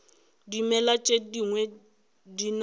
dimela tše dingwe di na